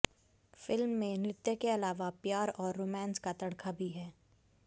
film में नृत्य के अलावा प्यार और रोमांस का तड़का भी है